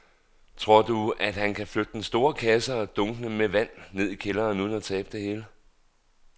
Tror du, at han kan flytte den store kasse og dunkene med vand ned i kælderen uden at tabe det hele?